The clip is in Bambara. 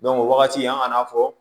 o wagati an ka na fɔ